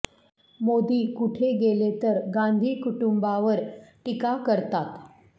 मोदी कुठे गेले तर गांधी कुटुंबावर टीका करतात